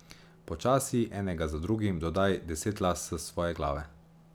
Počasi, enega za drugim, dodaj deset las s svoje glave.